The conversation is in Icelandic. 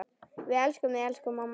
Við elskum þig, elsku amma.